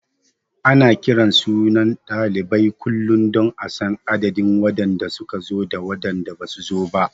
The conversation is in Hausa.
Ana kiran sunan ɗalibai kullum don a san adadin waɗanda su ka zo da waɗanda basu zo ba.